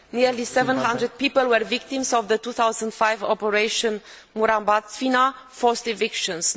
Nearly 700 people were victims of the 2005 Operation Murambatsvina forced evictions.